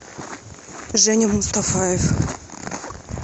женя мустафаев